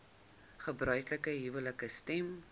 gebruiklike huwelike stem